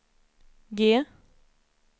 G